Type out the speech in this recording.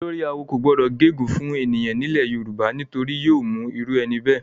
Olórí-awo kò gbọdọ gé ègún fún ènìyàn nílẹ̀ Yorùbá, nítorí yóò mú irú ẹni bẹ́ẹ̀.